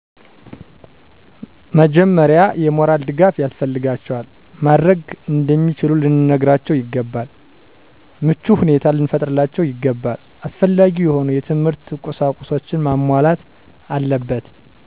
በመጀመሪያ የሞራል ድጋፍ ያስፈልጋቸዋል። ማድረግ እንደሚችሉ ልንነግራቸው ይገባል። ምቹ ሁኔታ ሊፈጠርላቸው ይገባል። አስፈላጊ የሆኑ የትምህርት ቁሳቁሶች መሟላት አለበት።